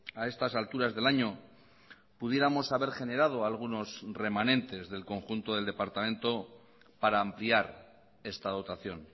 a estas alturas del año pudiéramos haber generado algunos remanentes del conjunto del departamento para ampliar esta dotación